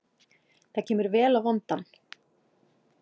Það kemur vel á vondan.